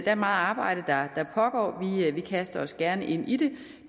er meget arbejde der pågår og vi kaster os gerne ind i det